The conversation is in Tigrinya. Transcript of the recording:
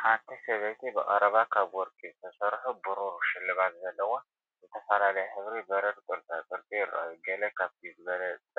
ሓንቲ ሰበይቲ ብቐረባ ካብ ወርቂ ዝተሰርሑ ብሩር ሽልማት ዘለዋ ፣ ዝተፈላለየ ሕብሪ በረድ ቅርፃቅርፂ ይረኣዩ። ገለ ካብቲ ዝበለጸ